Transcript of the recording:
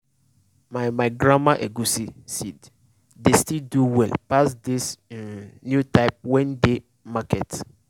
my my grandma egusi seed dey still do well pass dis um new type wey dey um market